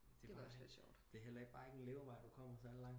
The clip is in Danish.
Det er bare heller ikke en levevej du kommer særlig lang